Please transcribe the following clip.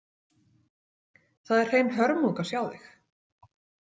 Það er hrein hörmung að sjá þig.